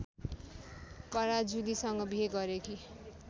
पराजुलीसँग बिहे गरेकी